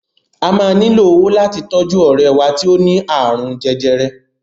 A maa nílò owó láti tọ́jú ọ̀rẹ́ wá tí ó ni àrùn jẹjẹrẹ.